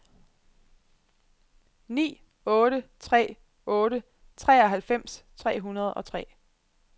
ni otte tre otte treoghalvfems tre hundrede og tre